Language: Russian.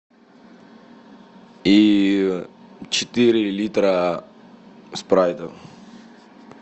и четыре литра спрайта